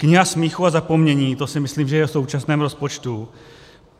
Kniha smíchu a zapomnění - to si myslím, že je v současném rozpočtu.